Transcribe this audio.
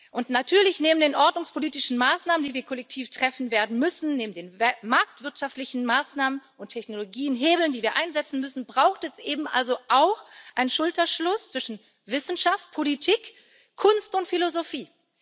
Und natürlich Neben den ordnungspolitischen Maßnahmen, die wir kollektiv treffen werden müssen, neben den marktwirtschaftlichen Maßnahmen und Technologiehebeln, die wir einsetzen müssen, braucht es eben auch einen Schulterschluss zwischen Wissenschaft, Politik, Kunst und Philosophie.